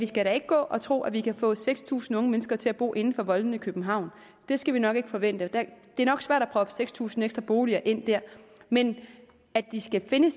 skal da ikke gå og tro at vi kan få seks tusind unge mennesker til at bo inden for voldene i københavn det skal vi nok ikke forvente det er nok svært at proppe seks tusind ekstra boliger ind der men at de skal finde